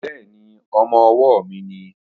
Bẹ́ẹ̀ni, ọmọ-ọwọ́ mi nìí